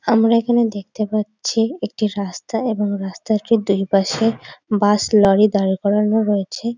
আমরা এখানে দেখতে পাচ্ছি একটি রাস্তা এবং রাস্তা দুইপাশে বাস লরি দাঁড় করানো রয়েছে।